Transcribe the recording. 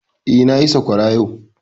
Eh, na yi sakwara yau